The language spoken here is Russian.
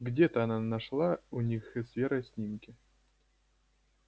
где-то она нашла у них и с верой снимки